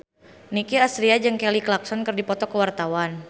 Nicky Astria jeung Kelly Clarkson keur dipoto ku wartawan